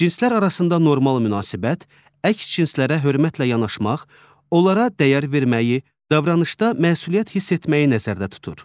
Cinslər arasında normal münasibət, əks cinslərə hörmətlə yanaşmaq, onlara dəyər verməyi, davranışda məsuliyyət hiss etməyi nəzərdə tutur.